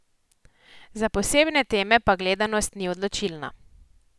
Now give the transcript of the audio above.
Za posebne teme pa gledanost ni odločilna.